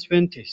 besses.